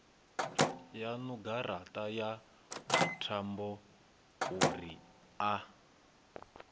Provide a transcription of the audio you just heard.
yaṋu garaṱa ya thambouri a